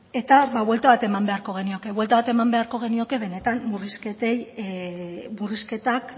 eta buelta bat eman beharko genioke buelta bat eman beharko genioke benetan murrizketak ba hori